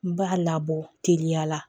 N b'a labɔ teliya la